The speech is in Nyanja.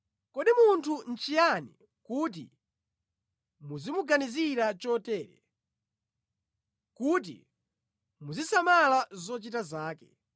“Kodi munthu nʼchiyani kuti muzimuganizira chotere, kuti muzisamala zochita zake,